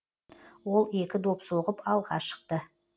ол екі доп соғып алға шықты